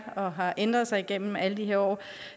og har ændret sig igennem alle de her år